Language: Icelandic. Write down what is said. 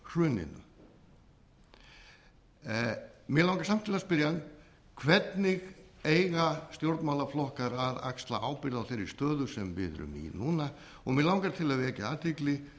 ber á hruninu mig langar samt til að spyrja hann hvernig eiga stjórnmálaflokkar að axla ábyrgð á þeirri stöðu sem við erum í núna mig langar til að vekja athygli